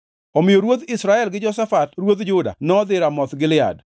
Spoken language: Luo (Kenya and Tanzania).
Omiyo ruodh Israel gi Jehoshafat ruodh Juda nodhi Ramoth Gilead.